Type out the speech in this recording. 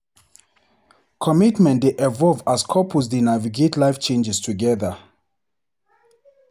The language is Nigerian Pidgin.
Commitment dey evolve as couples dey navigate life changes together.